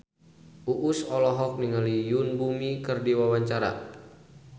Uus olohok ningali Yoon Bomi keur diwawancara